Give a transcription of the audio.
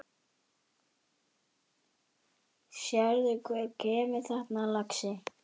Sérðu hver kemur þarna, lagsi?